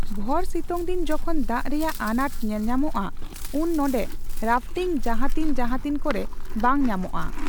ᱵᱷᱚᱨ ᱥᱤᱛᱩᱝᱫᱤᱱ ᱡᱚᱠᱷᱚᱱ ᱫᱟᱜ ᱨᱮᱭᱟᱜ ᱟᱱᱟᱴ ᱧᱮᱞᱧᱟᱢᱚᱜᱼᱟ ᱩᱱ ᱱᱚᱰᱮ ᱨᱟᱯᱷᱴᱤᱝ ᱡᱟᱦᱟᱛᱤᱱ ᱡᱟᱦᱟᱛᱤᱱ ᱠᱚᱨᱮ ᱵᱟᱝ ᱧᱟᱢᱚᱜᱼᱟ ᱾